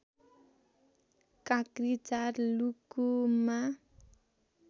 काक्री ४ लुकुममा